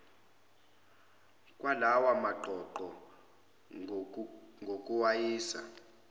kwalawa maqoqo ngokuwayisa